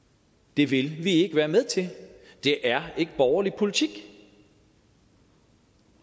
det vil vi ikke være med til det er ikke borgerlig politik